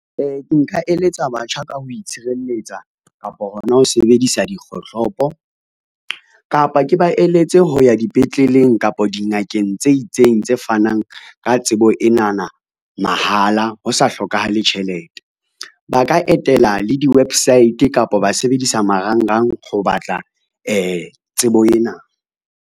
Nka eletsa batjha ka ho itshireletsa kapa hona ho sebedisa dikgohlopo, kapa ke ba eletse ho ya dipetleleng kapa dingakeng tse itseng tse fanang ka tsebo enana mahala, ho sa hlokahale tjhelete. Ba ka etela le di-website kapa ba sebedisa marangrang ho batla tsebo ena.